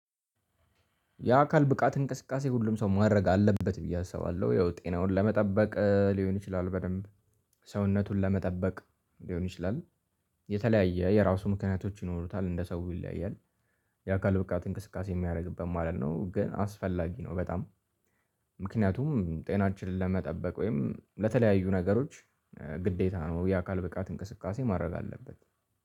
የአካል ብቃት እንቅስቃሴ ሁሉም ሰው ማድረግ አለበት ብዬ አሰባለሁ ያው ጤናውን ለመጠበቅ ሊሆን ይችላል በደንብ ሰውነቱን ለመጠበቅ ሊሆን ይችላል። የተለያየ የራሱ ምክንያቶች ይኖሩታል እንደ ሰው ይለያያል። የአካል ብቃት እንቅስቃሴ የሚያደርግበት ማለት ነው ግን አስፈላጊ ነው በጣም። ምክንያቱም ጤናችንን ለመጠበቅ ወይም ለተለያዩ ነገሮች ግዴታ ነው። የአካል ብቃት እንቅስቃሴ ማድረግ አለበት።